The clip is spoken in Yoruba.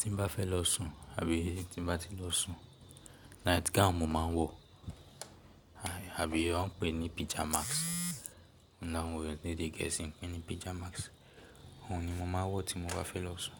Tí n bá fẹ́ lọ sùn, àbí tí bá ti lọ sùn night gown mo máa ń wọ̀ àbí wọ́n pè ní pijamas láwọn èyàn ní èdè Gẹ̀ẹ́sì pè ní pijamas. Ohun ni mo máa ń wọ̀ tí mo bá fẹ́ lọ sùn.